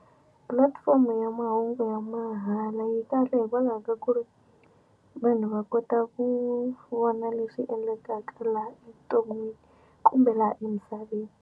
Pulatifomo ya mahungu ya mahala yi kahle hikwalaho ka ku ri vanhu va kota ku vona lexi endlekaka laha evuton'wini kumbe laha emisaveni.